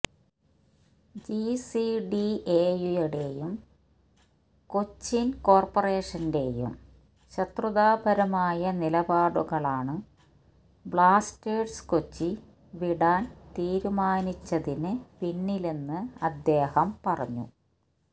ജിസിഡിഎയുടെയും കൊച്ചിന് കോര്പറേഷന്റെയും ശത്രുതാപരമായ നിലപാടുകളാണ് ബ്ലാസ്റ്റേഴ്സ് കൊച്ചി വിടാന് തീരുമാനിച്ചതിന് പിന്നിലെന്ന് അദ്ദേഹം പറഞ്ഞു